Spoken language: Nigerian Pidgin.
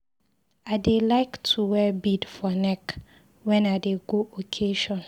I dey like to wear bead for neck when I dey go occasion.